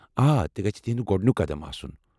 آ تہِ گژھِ تہنٛد گۄڈنُیٚک قدم آسن ۔